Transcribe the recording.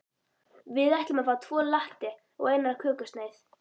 Við ætlum að fá tvo latte og eina kökusneið.